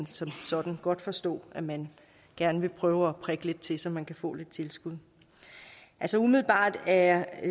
som sådan godt forstå at man gerne vil prøve at prikke lidt til så man kan få lidt tilskud umiddelbart er